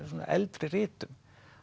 eldri ritum